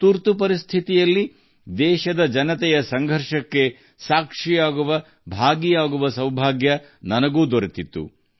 ತುರ್ತುಪರಿಸ್ಥಿತಿಯ ಸಮಯದಲ್ಲಿ ದೇಶವಾಸಿಗಳ ಹೋರಾಟದಲ್ಲಿ ಭಾಗಿಯಾಗುವಪ್ರಜಾಪ್ರಭುತ್ವದ ಸೈನಿಕನಾಗಿ ಸಾಕ್ಷಿಯಾಗುವ ಸೌಭಾಗ್ಯ ನನಗೆ ಲಭಿಸಿತ್ತು